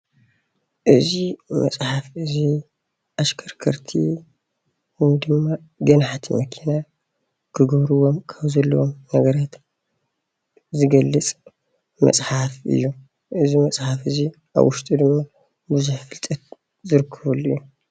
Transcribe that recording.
እዚ መፅሓፍ እዚ ኣሽከርከርቲ ወይ ድማ ገናሕቲ መኪና ክገብርዎም ካብ ዘለዎም ነገራት ዝገልፅ መፅሓፍ እዩ እዚ መፅሓፍ እዚ ኣብ ዉሽጡ ድማ ብዙሕ ፍልጠት ዝርከበሉ እዩ።